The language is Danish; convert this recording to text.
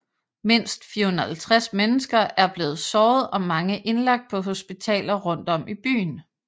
Mindst 450 mennesker er blevet såret og mange indlagt på hospitaler rundt om i byen